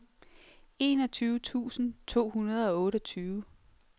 enogtyve tusind to hundrede og otteogtyve